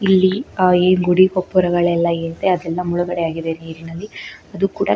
ಇಲ್ಲಿ ಆ ಏನ್ ಗುಡಿ ಪೊಪ್ಪರೆಗಳೆಲ್ಲಾ ಏನಿದೆ ಅದೆಲ್ಲಾ ಮುಳಗಡೆ ಆಗಿದೆ ನೀರಿನಲ್ಲಿ ಅದು ಕೂಡ --